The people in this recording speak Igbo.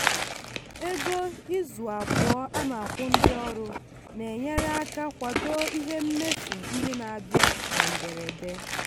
ego izu abụọ a na-akwụ ndị ọrụ na-enyere aka kwado ihe mmefu ndị na-abịa na mberede.